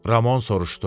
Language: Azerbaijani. Ramon soruşdu.